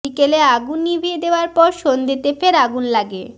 বিকেলে আগুন নিভিয়ে দেওয়ার পর সন্ধেতে ফের আগুন লাগে